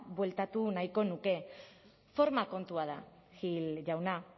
bueltatu nahiko nuke forma kontua da gil jauna